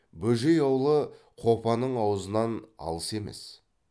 бөжей аулы қопаның аузынан алыс емес